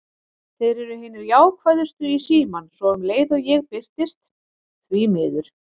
Þeir eru hinir jákvæðustu í símann, svo um leið og ég birtist: því miður.